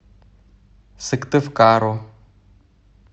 сыктывкару